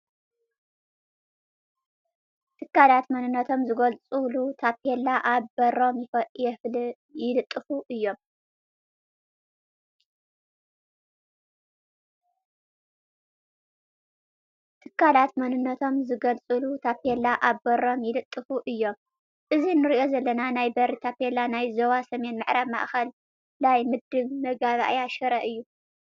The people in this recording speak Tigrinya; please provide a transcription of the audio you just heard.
ትካላት መንነቶም ዝገልፁሉ ታፔላ ኣብ በሮም ይልጥፉ እዮም፡፡ እዚ ንሪኦ ዘለና ናይ በሪ ታፔላ ናይ ዞባ ሰሜን ምዕራብ ማእኸላይ ምድብ መጋባእያ ሽረ እዩ ፡፡